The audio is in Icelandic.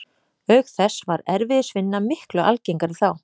Auk þess var erfiðisvinna miklu algengari þá.